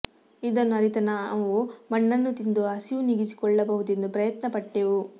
ಇದನ್ನು ಅರಿತ ನಾವು ಮಣ್ಣನ್ನು ತಿಂದು ಹಸಿವು ನೀಗಿಸಿಕೊಳ್ಳಬಹದೆಂದು ಪ್ರಯತ್ನ ಪಟ್ಟೆವು